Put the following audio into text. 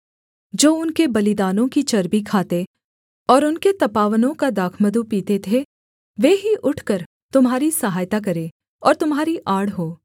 जो उनके बलिदानों की चर्बी खाते और उनके तपावनों का दाखमधु पीते थे वे ही उठकर तुम्हारी सहायता करें और तुम्हारी आड़ हों